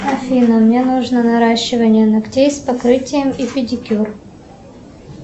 афина мне нужно наращивание ногтей с покрытием и педикюр